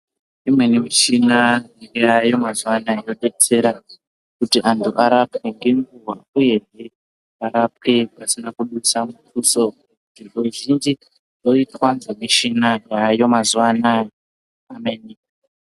Imweni michina yayo mazuva anaya yodetsera kuti antu arapwe ngenguwa uyehe varapwe pasina kudusa mutuso zviro zvizhinji zvoitwa ngemichina dzayo mazuwa anaya Amen.